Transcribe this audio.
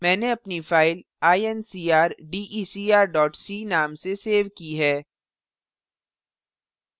मैंने अपनी file incrdecr c नाम से सेव की है